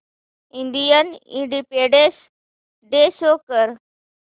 Indian independence day show कर